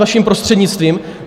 vaším prostřednictvím.